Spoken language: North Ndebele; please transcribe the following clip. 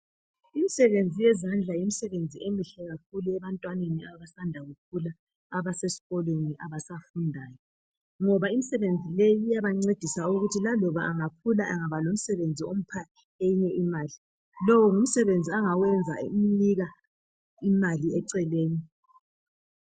Imisebenzi yezandla yimisebenzi emihle kakhulu ebantwaneni abasanda kukhula abasesikolweni abasafundayo ngoba imisebenzi leyi iyabancedisa ukuthi laloba angakhula angabalomsebenzi ompha enye imali ,lo ngumsebenzi angawenza umnika enye imali eceleni